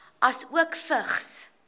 asook vigs